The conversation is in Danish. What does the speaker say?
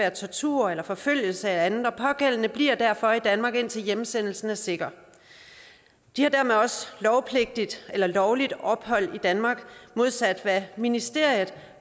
af tortur eller forfølgelser eller andet og den pågældende bliver derfor i danmark indtil hjemsendelsen er sikker de har dermed også lovligt ophold i danmark modsat hvad ministeriet